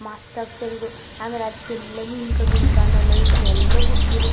ಮಸ್ತ್ ಆಗಿ ಸೇರಿರು ಆಮೇಲೆ ಅದ್ಕೆಲ್ಲಾ ಮಿಣಕ್ ಮಿಣಕ್ ಅನ್ನ ಲೈಟ್ ನೆಲ್ಲಾ ಬಿಡತ್ತಿರು .